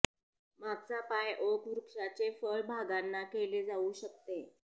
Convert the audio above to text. मागचा पाय ओक वृक्षाचे फळ भागांना केले जाऊ शकते